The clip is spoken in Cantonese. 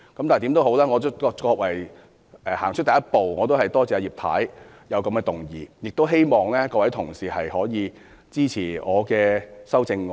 無論如何，這也是走出了第一步，我多謝葉太提出這項議案，亦希望各位同事支持我的修正案。